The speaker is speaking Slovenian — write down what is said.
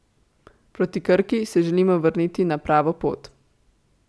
Proti Krki se želimo vrniti na pravo pot.